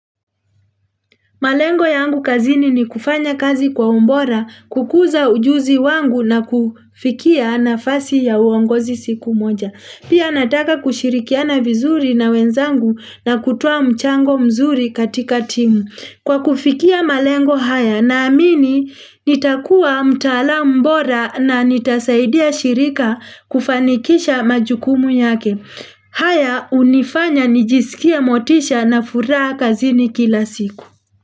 Malengo yangu kazini ni kufanya kazi kwa umbora kukuza ujuzi wangu na kufikia nafasi ya uongozi siku moja. Pia nataka kushirikiana vizuri na wenzangu na kutoa mchango mzuri katika timu. Kwa kufikia malengo haya naamini nitakuwa mtalamu mbora na nitasaidia shirika kufanikisha majukumu yake. Haya unifanya nijisikie motisha na furaha kazini kila siku.